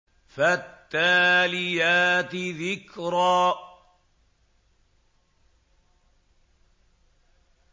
فَالتَّالِيَاتِ ذِكْرًا